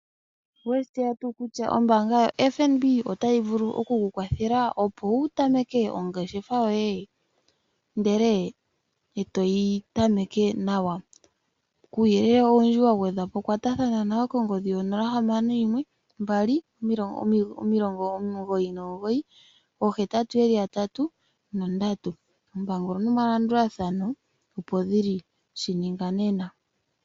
Oweshi tseya tuu kutya ombaanga yo FNB otayi vulu oku kukwathela opo wu tamake ongeshefa yoye ndele toyi tameke nawa. Kuuyelele owundji wagwedhwa po kwatathana nayo konomola 061 2998883. Oompango nomalandulathano opo dhili, shininga nena.